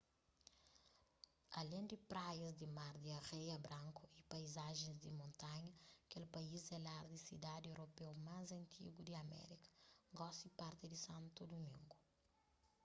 alén di praias di mar di areia branku y paizajens di montanha kel país é lar di sidadi europeu más antigu di amérika gosi parti di santo dumingo